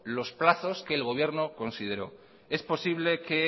los plazos que el gobierno consideró es posible que